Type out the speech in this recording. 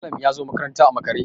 Malam ya zo makaranta a makare